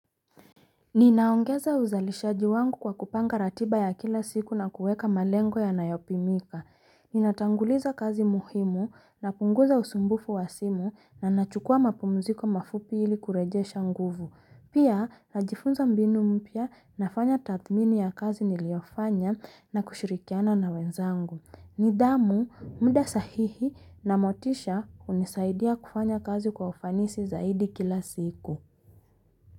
Ninaongeza uzalishaji wangu kwa kupanga ratiba ya kila siku na kuweka malengo ya nayopimika Ninatanguliza kazi muhimu na punguza usumbufu wa simu na nachukua mapumziko mafupi hili kureje shanguvu Pia na jifunza mbinu mpya nafanya tathmini ya kazi niliofanya na kushirikiana na wenzangu Nidamu mda sahihi na motisha unisaidia kufanya kazi kwa ufanisi zaidi kila siku.